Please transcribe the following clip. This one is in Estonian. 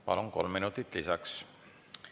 Palun, kolm minutit lisaks!